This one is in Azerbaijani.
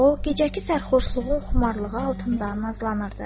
O gecəki sərxoşluğun xumarlığı altında nazlanırdı.